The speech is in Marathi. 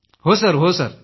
हो सर हो सर